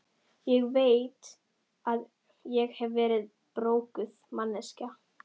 Ég veit að ég hef verið broguð manneskja.